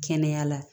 Kɛnɛya la